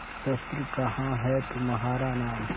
शस्त्र कहाँ है तुम्हारा नाम